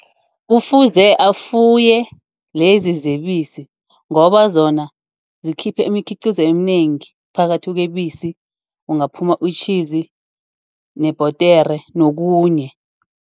Kufuze afuye lezi zebisi, ngoba zona zikhiphe imikhiqizo eminengi. Phakathi kweebisi kungaphuma uyitjhizi nebhodera nokhunye.